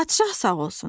"Padşah sağ olsun.